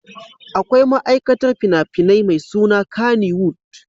Akwai ma'aikatar fina-finan mai suna Kannywood.